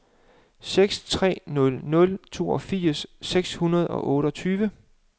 seks tre nul nul toogfirs seks hundrede og otteogtyve